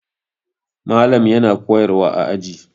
Malam yana koyarwa a aji.